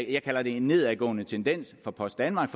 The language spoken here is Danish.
jeg kalder en nedadgående tendens for post danmark